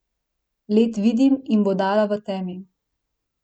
Led vidim in bodala v temi.